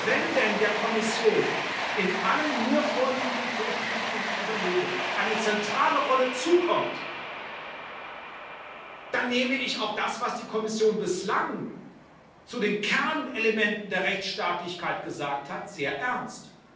Wenn denn der Kommission in allen mir vorliegenden Vorschlägen und Überlegungen eine zentrale Rolle zukommt, dann nehme ich auch das, was die Kommission bislang zu den Kernelementen der Rechtsstaatlichkeit gesagt hat, sehr ernst.